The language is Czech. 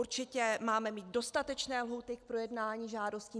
Určitě máme mít dostatečné lhůty k projednání žádostí.